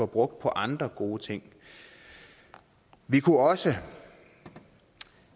brugt på andre gode ting vi kunne også